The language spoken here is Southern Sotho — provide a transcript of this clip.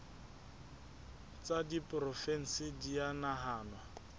tsa diporofensi di a nahanwa